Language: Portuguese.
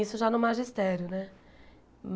Isso já no magistério, né?